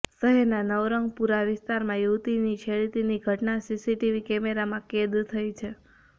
શહેરના નવરંગપુરા વિસ્તારમાં યુવતીની છેડતીની ઘટના સીસીટીવી કેમેરામાં કેદ થઈ છે